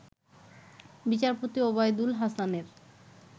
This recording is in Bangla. বিচারপতি ওবায়দুল হাসানের